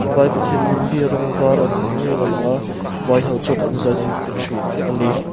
vai pathian lim hi rawng var an hnawih ni ngeiin a lang a vai ho chuan an zah in an be thin a ni.